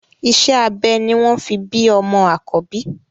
Iṣẹ́ abẹ ni wọ́n fi bí ọmọ àkọ́bí